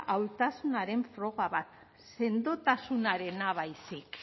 hautasunaren proba bat sendotasunarena baizik